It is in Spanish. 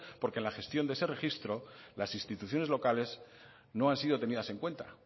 porque en la gestión de ese registro las instituciones locales no han sido tenidas en cuenta